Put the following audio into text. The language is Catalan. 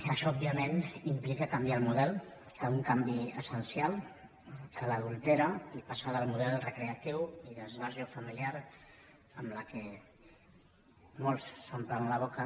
això òbviament implica canviar el model un canvi essencial que l’adultera i passar del model recreatiu i d’esbarjo familiar amb què molts s’omplen la boca